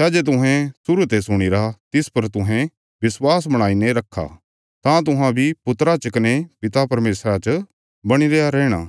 सै जे तुहें शुरु ते सुणीरा तिस पर तुहें विश्वास बणाईने रखा तां तुहां बी पुत्रा च कने पिता परमेशरा च बणी रयां रैहणा